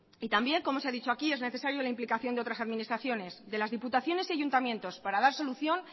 y también como se ha dicho aquí es necesario la implicación de otras administraciones de las diputaciones y ayuntamientos para dar solución